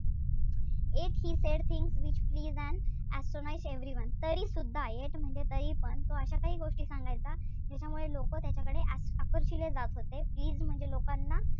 Yet he said things which pleased and astonished everyone तरीसुद्धा yet म्हणजे तरीपण तो अशा काही गोष्टी सांगायचा. ज्याच्यामुळे लोक त्याच्याकडे आकर्षिले जात होते. Please म्हणजे लोकांना,